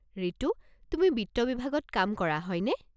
ৰিতু, তুমি বিত্ত বিভাগত কাম কৰা, হয়নে?